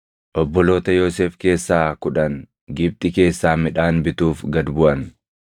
Obboloota Yoosef keessaa kudhan Gibxi keessaa midhaan bituuf gad buʼan.